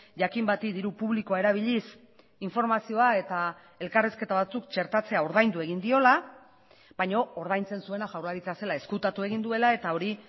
jakin bati diru publikoa erabiliz informazioa eta elkarrizketa batzuk txertatzea ordaindu egin diola baina ordaintzen zuena jaurlaritza zela ezkutatu egin duela eta hori